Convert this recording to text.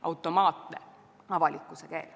Automaatne avalikkuse keel.